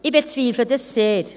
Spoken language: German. Dies bezweifle ich sehr.